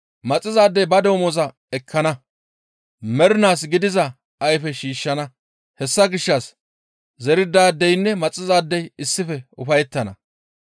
Maxizaadey ba damoza ekkana; mernaas gidiza ayfe shiishshana; hessa gishshas zerizaadeynne maxizaadey issife ufayettana.